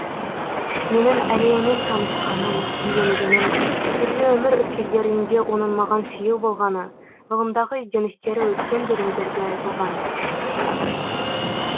менің әлиямен танысқаным үйленгенім түрлі өмір өткелдерінде оның маған сүйеу болғаны ғылымдағы ізденістері өткен бөлімдерде айтылған